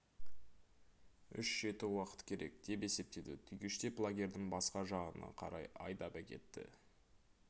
үш жеті уақыт керек деп есептеді түйгіштеп лагердің басқа жағына қарай айдап әкетті